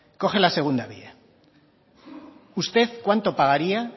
coge la segunda vía usted cuánto pagaría